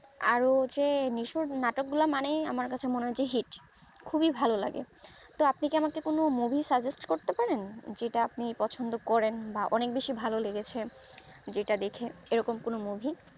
আরও হচ্ছে নিশুর নাটক গুলা মানেই আমার কাছে hit খুবই ভালো লাগে তো আপনি কি আমাকে কোনো movie করতে পারেন যেটা আপনি পছন্দ করেন বা অনেক বেশি ভালো লেগেছে যেটা দেখে এরকম কোনো movie